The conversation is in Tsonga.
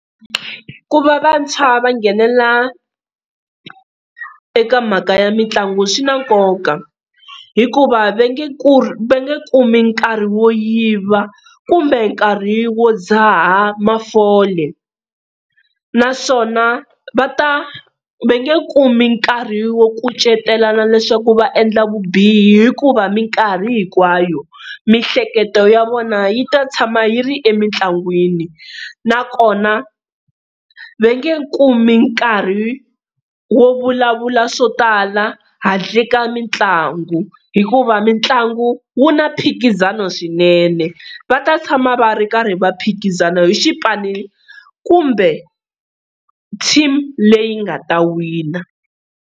Ku va vantshwa va nghenelela eka mhaka ya mitlangu swi na nkoka hikuva va nge ku va nge kumi nkarhi wo yiva kumbe nkarhi wo dzaha mafole, naswona va ta va nge kumi nkarhi wo kucetelana leswaku va endla vubihi hikuva minkarhi hinkwayo mihleketo ya vona yi ta tshama yi ri emitlangwini. Nakona va nge kumi nkarhi wo vulavula swo tala handle ka mitlangu, hikuva mitlangu wu na mphikizano swinene va ta tshama va ri karhi va phikizana hi xipano kumbe team leyi nga ta wina.